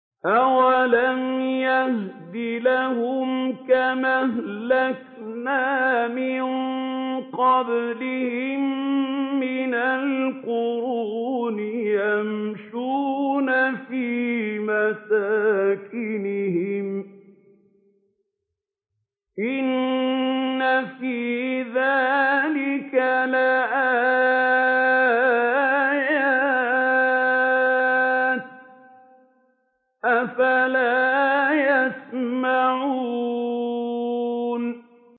أَوَلَمْ يَهْدِ لَهُمْ كَمْ أَهْلَكْنَا مِن قَبْلِهِم مِّنَ الْقُرُونِ يَمْشُونَ فِي مَسَاكِنِهِمْ ۚ إِنَّ فِي ذَٰلِكَ لَآيَاتٍ ۖ أَفَلَا يَسْمَعُونَ